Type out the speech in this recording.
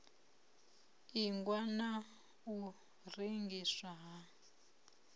ingwa na u rengiswa ha